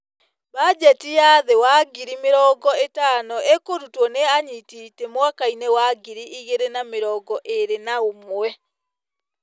Mbanjeti ya thĩĩ wa ngiri mĩrongo-ĩtano ĩkũrutwo nĩ anyiti ite mwakainĩ wa ngiri igĩrĩ na mĩrongo-ĩrĩ naũmwe.